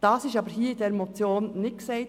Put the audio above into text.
Dies wird jedoch in dieser Motion nicht gesagt.